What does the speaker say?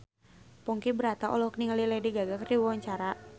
Ponky Brata olohok ningali Lady Gaga keur diwawancara